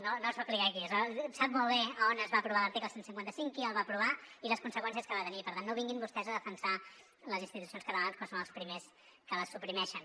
no no es va aplicar aquí sap molt bé on es va aprovar l’article cent i cinquanta cinc qui el va aprovar i les conseqüències que va tenir per tant no vinguin vostès a defensar les institucions catalanes quan són els primers que la suprimeixen